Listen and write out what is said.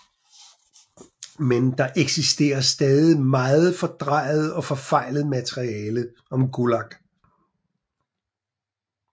Men der eksisterer stadig meget fordrejet og forfejlet materiale om Gulag